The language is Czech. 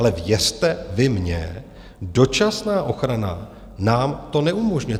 Ale věřte vy mně, dočasná ochrana nám to neumožňuje.